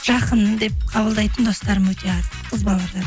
жақын деп қабылдайтын достарым өте аз қыз балалардан